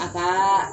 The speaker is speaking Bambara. A ka